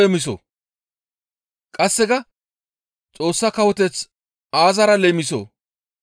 Qasseka, «Xoossa Kawoteth aazara leemisoo?